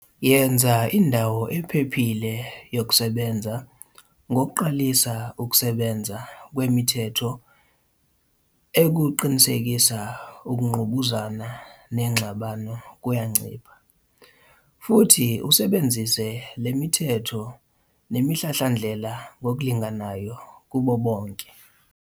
Yenza indawo ephephile yokusebenza ngokuqalisa ukusebenza kwemithetho ukuqinisekisa ukungqubuzana nengxabano kuyancipha. Futhi usebenzise le mithetho nemihlahlandlela ngokulinganayo kubo bonke.